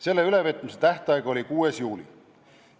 Selle ülevõtmise tähtaeg oli 6. juuli.